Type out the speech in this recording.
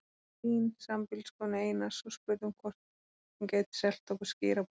Hlín, sambýliskonu Einars, og spurðum hvort hún gæti selt okkur skyr að borða.